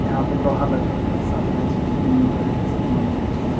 यहां पे लोहा लकर के साथ रहय छै जिम उम करय के सामान जे होय छै यहां पे --